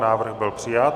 Návrh byl přijat.